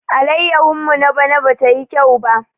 Allayahun mu na bana ba tayi kyau ba.